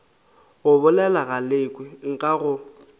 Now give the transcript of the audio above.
go bolela galekwe nka go